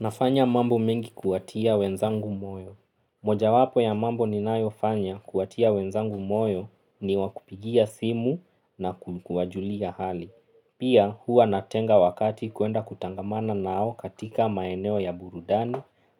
Nafanya mambo mingi kuwatia wenzangu moyo. Mojawapo ya mambo ninayofanya kuwatia wenzangu moyo ni wa kupigia simu na ku kuwajulia hali. Pia huwa natenga wakati kuenda kutangamana nao katika maeneo ya burudani